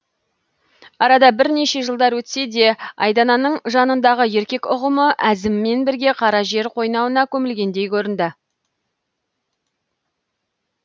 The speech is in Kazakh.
арада бірнеше жылдар өтсе де айдананың жанындағы еркек ұғымы әзіммен бірге қара жер қойнауына көмілгендей көрінді